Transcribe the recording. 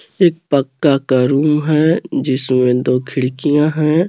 पक्का का रूम है जिसमें दो खिड़कियां हैं.